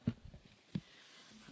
Pani Przewodnicząca!